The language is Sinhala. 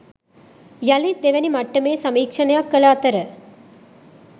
යළිත් දෙවැනි මට්ටමේ සමීක්‍ෂණයක් කළ අතර